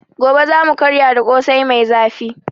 Gobe za mu karya da Ƙosai mai zafi.